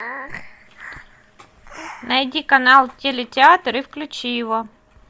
найди канал телетеатр и включи его